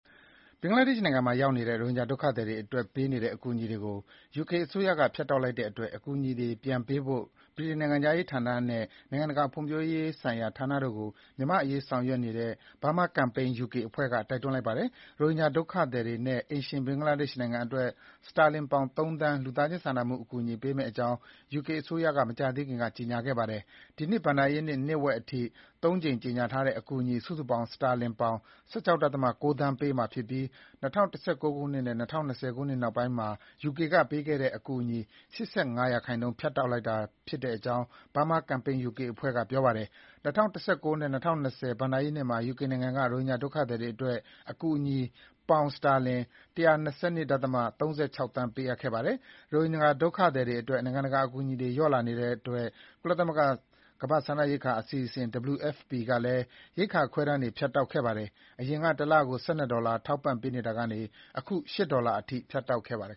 ဘင်္ဂလားဒေ့ရှ်နိုင်ငံရောက် ရိုဟင်ဂျာဒုက္ခသည်တွေအတွက်ပေးနေတဲ့ အကူအညီတွေကို ယူကေအစိုးရက ဖြတ်တောက်လိုက်တဲ့အတွက် အကူအညီတွေ ပြန်ပေးဖို့ ဗြိတိန် နိုင်ငံခြားရေးဝန်ကြီးဌာနနဲ့ နိုင်ငံတကာ ဖွံ့ဖြိုးရေးဆိုင်ရာဌာနတို့ကို မြန်မာ့အရေးဆောင်ရွက်နေတဲ့ Burma Campaign UK အဖွဲ့က တိုက်တွန်းလိုက်ပါတယ်။ ရိုဟင်ဂျာ ဒုက္ခသည်တွေနဲ့ အိမ်ရှင် ဘင်္ဂလားဒေ့ရှ်နိုင်ငံအတွက် စတာလင်ပေါင် ၃ သန်း လူသားချင်း စာနာမှုအကူအညီ ပေးမယ့်အကြောင်း ယူကေအစိုးရက မကြာသေးခင်က ကြေညာခဲ့ပါတယ်။ ဒီနှစ် ဘဏ္ဍာရေးနှစ် နှစ်ဝက်အထိ သုံးကြိမ်ကြေညာထားတဲ့ အကူအညီ စုစုပေါင်း စတာလင်ပေါင် ၁၆ ဒသမ ၉ သန်း ပေးမယ်လို့ပြောပါတယ်။ ဒါဟာ ၂၀၁၉ ခုနှစ်နဲ့ ၂၀၂၀ ခုနှစ် နောက်ပိုင်းမှာ ယူကေက ပေးတဲ့ အကူအညီ ၈၅% ဖြတ်တောက်လိုက်တာ ဖြစ်တဲ့အကြောင်း Burma Campaign UK အဖွဲ့က ပြောဆိုပါတယ်။ ၂၀၁၉ ခုနှစ်နဲ့ ၂၀၂၀ ဘဏ္ဍာရေးနှစ်မှာ ယူကေက ရိုဟင်ဂျာ ဒုက္ခသည်တွေအတွက် အကူအညီ ပေါင် ၁၁၂ ဒသမ ၃၆ သန်း ပေးအပ်ခဲ့ပါတယ်။ ရိုဟင်ဂျာ ဒုက္ခသည်တွေအတွက် နိုင်ငံတကာအကူအညီတွေ လျော့နည်းလာတဲ့အတွက် ကုလသမဂ္ဂ ကမ္ဘာ့စားနပ်ရိက္ခာအစီအစဉ် WFP ကလည်း ရိက္ခာ ခွဲတမ်းတွေ ဖြတ်တောက်ခဲ့ပါတယ်။ အရင်က တလကို ၁၂ ဒေါ်လာ ထောက်ပံ့နေတာကနေ ၈ ဒေါ်လာအထိ ဖြတ်တောက်ခဲ့ပါတယ်